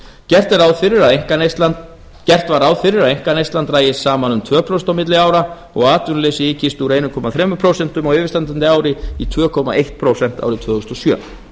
gert var ráð fyrir að einkaneyslan drægist saman um tvö prósent á milli ára og að atvinnuleysi ykist úr einum komma þrjú prósent á yfirstandandi ári í tvö komma eitt prósent árið tvö þúsund og sjö